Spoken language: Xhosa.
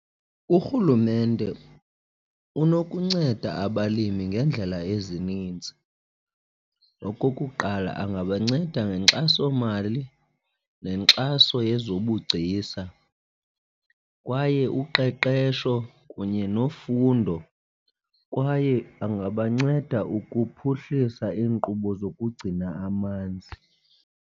URhulumente unokunceda abalimi ngeendlela ezininzi. Okokuqala, angabanceda ngenkxasomali nenkxaso yezobugcisa kwaye uqeqesho kunye nofundo kwaye angabanceda ukuphuhlisa iinkqubo zokugcina amanzi.